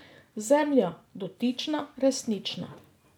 Zemlja, dotična, resnična.